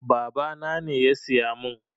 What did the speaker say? Babana ne ya siya mun